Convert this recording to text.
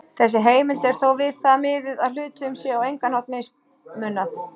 Þessi heimild er þó við það miðuð að hluthöfum sé á engan hátt mismunað.